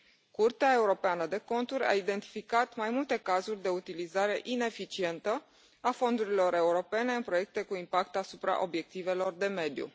Curtea Europeană de Conturi a identificat mai multe cazuri de utilizare ineficientă a fondurilor europene în proiecte cu impact asupra obiectivelor de mediu.